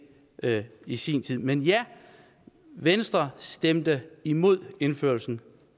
det i sin tid men ja venstre stemte imod indførelsen